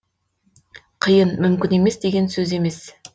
қиын мүмкін емес деген сөз емес